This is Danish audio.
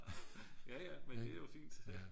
Ja ja men det er jo fint